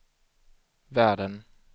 världen